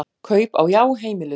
Kaup á Já heimiluð